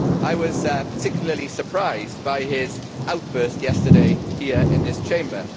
I was particularly surprised by his outburst yesterday here in this Chamber.